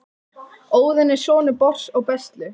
óðinn er sonur bors og bestlu